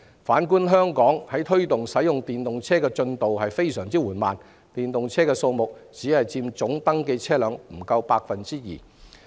反觀香港，我們在推動使用電動車方面的進度非常緩慢，電動車的數目只佔登記車輛總數不足 2%。